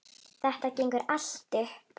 Þetta gengur allt upp.